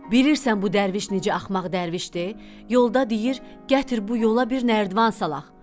Bilirsən bu dərviş necə axmaq dərvişdi, yolda deyir gətir bu yola bir nərdiban salaq.